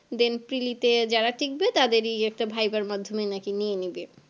then preli তে যারা টিকবে তাদেরই একটা viva র মাধমে নাকি নিয়ে নেবে